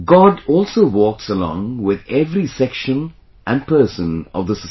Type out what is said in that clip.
God also walks along with every section and person of the society